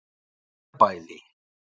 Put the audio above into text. Marbæli